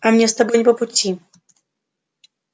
а мне с тобой не по пути